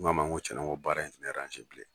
N' ko a ma n ko tiɲɛnna baara in tɛ ne bilen.